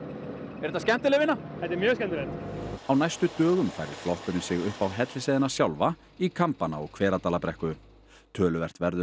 er þetta skemmtileg vinna þetta er mjög skemmtilegt á næstu dögum færir flokkurinn sig upp á Hellisheiðina sjálfa í Kambana og Hveradalabrekku töluvert verður